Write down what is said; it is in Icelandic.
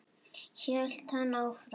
hélt hann áfram.